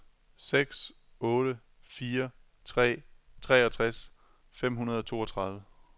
seks otte fire tre treogtres fem hundrede og toogtredive